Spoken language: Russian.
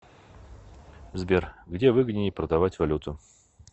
сбер где выгоднее продавать валюту